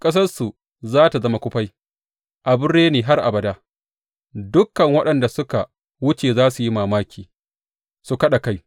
Ƙasarsu za tă zama kufai, abin reni har abada; dukan waɗanda suka wuce za su yi mamaki su kaɗa kai.